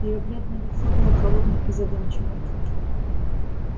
её бледное лицо было холодным и задумчивым